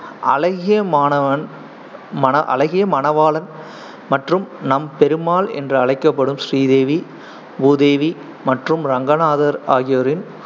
அழகியமானவன் மன~ அழகியமணவாளன் மற்றும் நம்பெருமாள் என்று அழைக்கப்படும் ஸ்ரீதேவி, பூதேவி மற்றும் ரங்கநாதர் ஆகியோரின்